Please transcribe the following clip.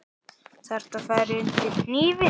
Þarftu að fara undir hnífinn?